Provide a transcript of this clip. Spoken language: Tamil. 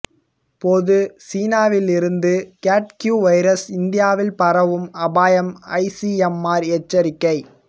பொது சீனாவிலிருந்து கேட் கியூ வைரஸ் இந்தியாவில் பரவும் அபாயம் ஐசிஎம்ஆர் எச்சரிக்கை